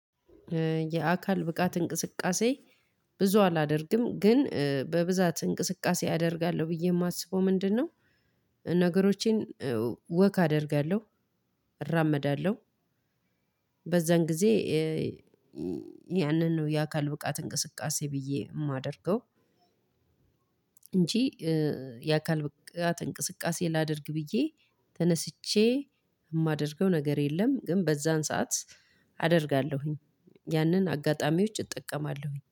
የአካል ብቃት እንቅስቃሴ ብዙ አላደርግም፤ ግን በብዛት እንቅስቃሴ አደርጋለሁ ብዬ የማስበው ምንድነው? ነገሮቼን ወክ አደርጋለሁ፣ እራመዳለሁ፣ በዛን ጊዜ ያንን ነው የአካል ብቃት እንቅስቃሴ ብዬ የማደርገው፤ እንጂ የአካል ብቃት እንቅስቃሴ ላድርግ ብዬ ተነስቼ የማደርገው ነገር የለም፤ ግን በዛን ሰዓት አደርጋለሁኝ። ያንን አጋጣሚዎች እጠቀማለሁኝ።